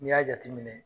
N'i y'a jateminɛ